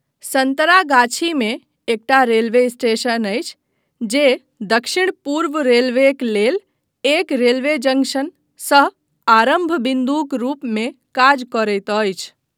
सन्तरागाछीमे एकटा railway station अछि जे दक्षिण पूर्व रेलवेक लेल एक रेलवे जंक्शन सह आरम्भ बिन्दुक रूपमे काज करैत अछि।